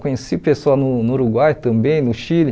Conheci pessoas no no Uruguai também, no Chile.